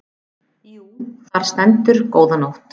Jú, þar stendur góða nótt.